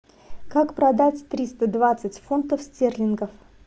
как продать триста двадцать фунтов стерлингов